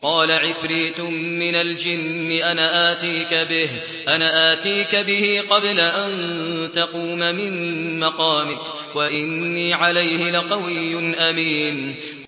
قَالَ عِفْرِيتٌ مِّنَ الْجِنِّ أَنَا آتِيكَ بِهِ قَبْلَ أَن تَقُومَ مِن مَّقَامِكَ ۖ وَإِنِّي عَلَيْهِ لَقَوِيٌّ أَمِينٌ